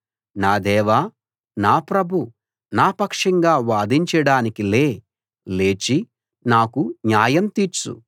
నా దేవా నా ప్రభూ నా పక్షంగా వాదించడానికి లే లేచి నాకు న్యాయం తీర్చు